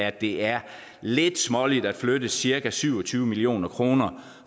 at det er lidt småligt at flytte cirka syv og tyve million kroner